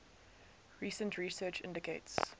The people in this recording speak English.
recent research indicates